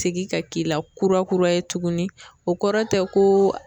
Segin ka k'i la kurakura ye tugunni o kɔrɔ tɛ ko